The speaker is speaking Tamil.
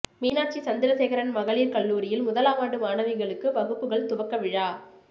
மீனாட்சி சந்திரசேகரன் மகளிர் கல்லூரியில் முதலாமாண்டு மாணவிகளுக்கு வகுப்புகள் துவக்க விழா